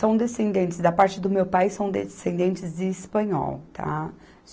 São descendentes, da parte do meu pai, são descendentes de espanhol, tá?